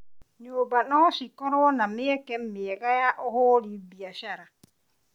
Nyũmba no cikorwo na mĩeke ya ũhũri biacara.